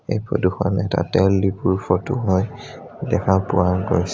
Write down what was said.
এই ফটো খন এটা তেল দিপুৰ ফটো হয় দেখা পোৱা গৈছে।